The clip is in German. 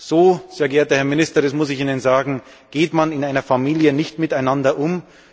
So, sehr geehrter Herr Minister, das muss ich Ihnen sagen, geht man in einer Familie nicht miteinander um!